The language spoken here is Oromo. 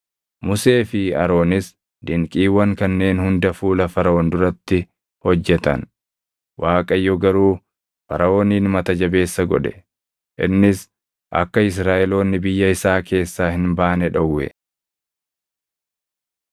Musee fi Aroonis dinqiiwwan kanneen hunda fuula Faraʼoon duratti hojjetan; Waaqayyo garuu Faraʼoonin mata jabeessa godhe; innis akka Israaʼeloonni biyya isaa keessaa hin baane dhowwe.